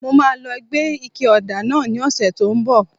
Mo máa lọ gbé ike ọ̀dà náà ní ọ̀sẹ̀ tí ó ń bọ̀